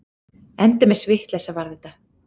Endemis vitleysa var þetta!